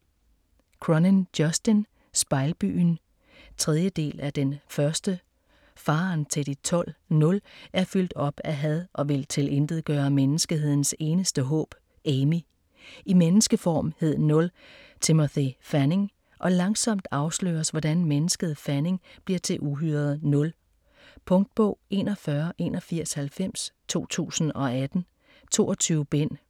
Cronin, Justin: Spejlbyen 3. del af Den første. Faderen til De Tolv, "Nul", er fyldt op af had og vil tilintetgøre menneskehedens eneste håb, Amy. I menneskeform hed Nul Timothy Fanning, og langsomt afsløres hvordan mennesket Fanning bliver til uhyret Nul. Punktbog 418190 2018. 22 bind.